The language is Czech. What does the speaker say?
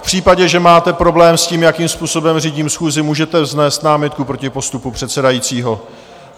V případě, že máte problém s tím, jakým způsobem řídím schůzi, můžete vznést námitku proti postupu předsedajícího.